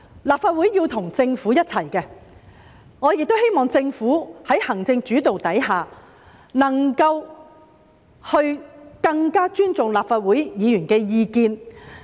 立法會是要與政府一起工作的，我亦希望政府在行政主導下，能夠更尊重立法會議員的意見。